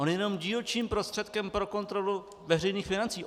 On je jenom dílčím prostředkem pro kontrolu veřejných financí.